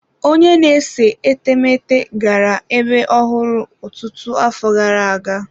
Onye na-ese etemeete gara ebe ọhụrụ ọtụtụ afọ gara aga.